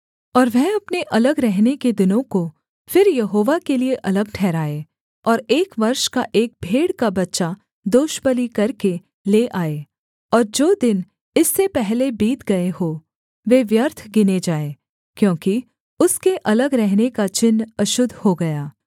और वह अपने अलग रहने के दिनों को फिर यहोवा के लिये अलग ठहराए और एक वर्ष का एक भेड़ का बच्चा दोषबलि करके ले आए और जो दिन इससे पहले बीत गए हों वे व्यर्थ गिने जाएँ क्योंकि उसके अलग रहने का चिन्ह अशुद्ध हो गया